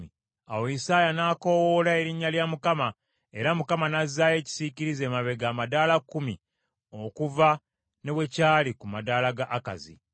Awo Isaaya n’akoowoola erinnya lya Mukama , era Mukama n’azzaayo ekisiikirize emabega amadaala kkumi okuva ne we kyali ku madaala ga Akazi.